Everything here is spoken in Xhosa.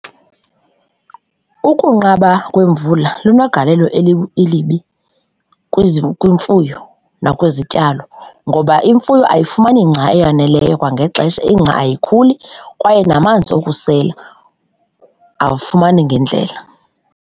Ukunqaba kwemvula lunegalelo elibi kwimfuyo nakwizityalo ngoba imfuyo ayifumani ingca eyaneleyo kwangexesha ingca ayikhuli kwaye namanzi okusela awufumani ngendlela.